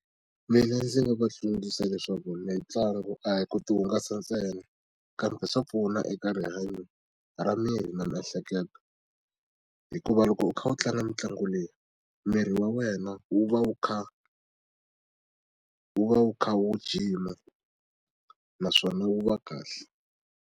Mina ndzi nga va tsundzuxa leswaku mitlangu a hi ku ti hungasa ntsena kambe swa pfuna eka rihanyo ra miri na miehleketo hikuva loko u kha u tlanga mitlangu leyi miri wa wena wu va wu kha wu va wu kha wu jima naswona wu va kahle.